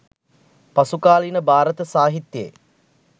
පසුකාලීන භාරත සාහිත්‍යයේ